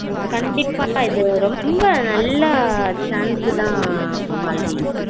கண்டிப்பா இது ரொம்ப நல்லா chance த மாலதி